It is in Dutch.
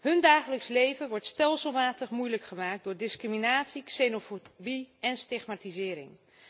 Hun dagelijks leven wordt stelselmatig moeilijk gemaakt door discriminatie, xenofobie en stigmatisering.